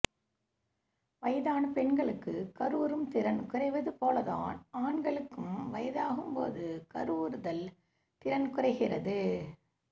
வயதான பெண்களுக்கு கருவுறும் திறன் குறைவது போல தான் ஆண்களுக்கும் வயதாகும் போது கருவுறுதல் திறன் குறைகிறது